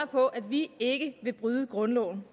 på at vi ikke vil bryde grundloven